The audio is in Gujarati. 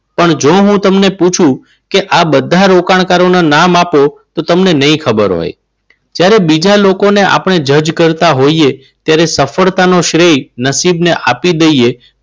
પણ જો હું તમને પૂછું કે આ બધા રોકાણકારો ના નામ આપો. તો તમને નહીં ખબર હોય. જ્યારે આપણે બીજા લોકોને જજ કરતા હોઈએ ત્યારે સફળતાનો શ્રેય નસીબના આપી દઈએ.